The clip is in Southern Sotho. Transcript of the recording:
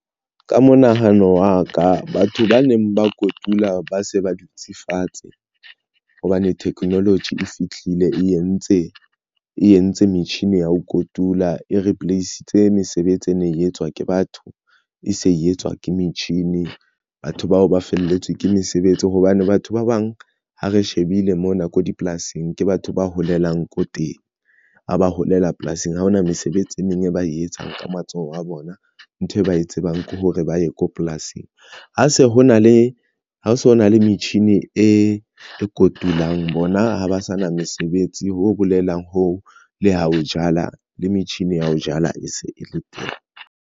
Ka monahano wa ka batho ba neng ba kotula ba se ba dutse fatshe hobane technology e fihlile e entse e entse metjhini ya ho kotula e replace-itse mesebetsi e ne e etswa ke batho e se etswa ke metjhini. Batho bao ba felletswe ke mesebetsi hobane batho ba bang ha re shebile mona ko dipolasing, ke batho ba holelang ko teng a ba holela polasing. Ha hona mesebetsi e meng e ba e etsang ka matsoho a bona ntho e ba e tsebang ke hore ba ye ko polasing. Ha se ho na le ho so na le metjhini e kotulang, bona ha ba sa na mesebetsi, ho bolelang ho le ha o jala le metjhini ya ho jala e se e le teng.